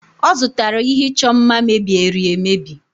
ọ zụtara ihe ịchọ mma mebieri emebi